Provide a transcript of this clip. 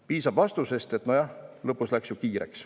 Piisab vastusest, et nojah, lõpus läks ju kiireks.